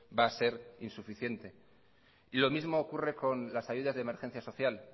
va a ser insuficiente lo mismo ocurre con las ayudas de emergencia social